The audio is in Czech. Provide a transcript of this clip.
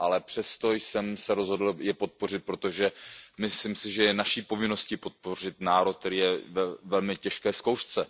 Ale přesto jsem se rozhodl je podpořit, protože myslím, že je naší povinností podpořit národ, který je ve velmi těžké zkoušce.